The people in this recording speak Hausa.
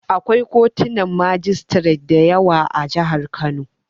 Akwai kotunan majistiret da yawa a jihar Kano.